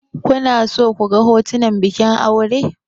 Kuna so ku ga hotunan bikin aure?